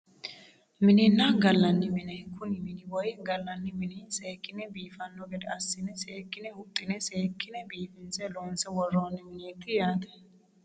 Minenna gallanni mine kuni mini woyi gallanni mini seekkine biifanno gede assine seekkine huxxine seekkine biifinse loonse worroonni mineeti yaate